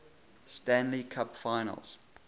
stanley cup finals